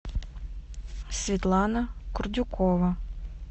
светлана курдюкова